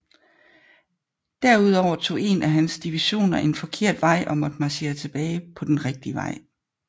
Derudover tog en af hans divisioner en forkert vej og måtte marchere tilbage til den rigtige vej